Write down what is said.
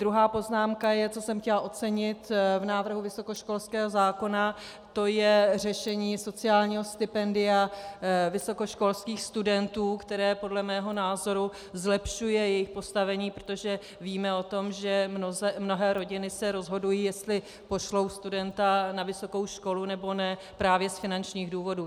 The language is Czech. Druhá poznámka je, co jsem chtěla ocenit v návrhu vysokoškolského zákona, to je řešení sociálního stipendia vysokoškolských studentů, které podle mého názoru zlepšuje jejich postavení, protože víme o tom, že mnohé rodiny se rozhodují, jestli pošlou studenta na vysokou školu, nebo ne, právě z finančních důvodů.